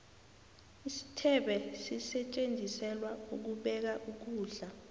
isithebe sisetjenziselwa ukubeka ukulda